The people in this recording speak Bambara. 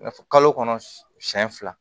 N'a fɔ kalo kɔnɔ siɲɛ fila